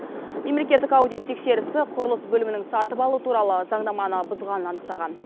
мемлекеттік аудит тексерісі құрылыс бөлімінің сатып алу туралы заңнаманы бұзғанын анықтаған